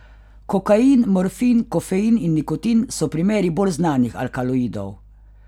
Kokain, morfin, kofein in nikotin so primeri bolj znanih alkaloidov.